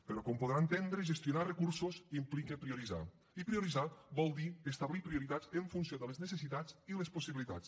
però com deu poder entendre gestionar recursos implica prioritzar i prioritzar vol dir establir prioritats en funció de les necessitats i les possibilitats